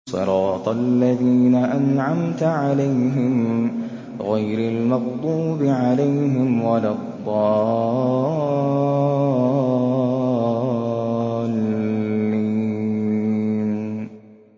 صِرَاطَ الَّذِينَ أَنْعَمْتَ عَلَيْهِمْ غَيْرِ الْمَغْضُوبِ عَلَيْهِمْ وَلَا الضَّالِّينَ